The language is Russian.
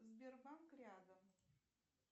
сбербанк рядом